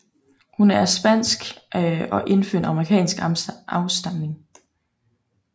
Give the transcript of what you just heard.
Hun er af spansk og indfødt amerikansk afstamning